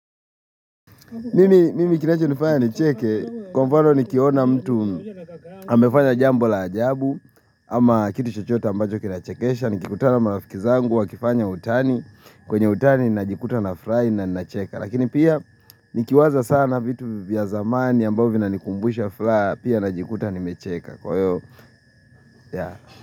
Mimi kinacho nifanya nicheke, kwa mfano nikiona mtu amefanya jambo la ajabu, ama kitu chochote ambacho kinachekesha, nikikutana marafiki zangu wakifanya utani, kwenye utani najikuta nafurahil na ninacheka. Lakini pia, nikiwaza sana vitu vya zamani ambavyo vinanikumbusha furaha, pia najikuta nimecheka.